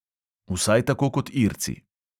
Vsaj tako kot irci.